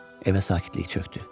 Evə sakitlik çökdü.